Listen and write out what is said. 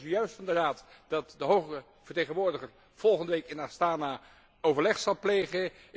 Ik hoorde zojuist van de Raad dat de hoge vertegenwoordiger volgende week in Astana overleg zal plegen.